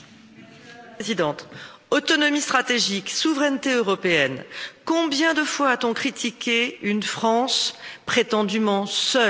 Madame la Présidente, autonomie stratégique, souveraineté européenne, combien de fois a t on critiqué une France prétendument seule.